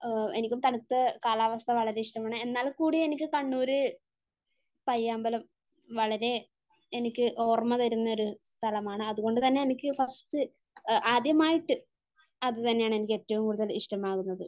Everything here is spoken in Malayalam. എനിക്കും തണുത്ത കാലാവസ്ഥ വളരെ ഇഷ്ടമാണ്. എന്നാൽക്കൂടി എനിക്ക് കണ്ണൂർ പയ്യാമ്പലം വളരെ എനിക്ക് ഓർമ്മ തരുന്ന ഒരു സ്ഥലമാണ് അതുകൊണ്ട് തന്നെ എനിക്ക് ഫസ്റ്റ് ആദ്യമായിട്ട് അതുതന്നെയാണ് എനിക്ക് ഏറ്റവും കൂടുതൽ ഇഷ്ടമാവുന്നത്.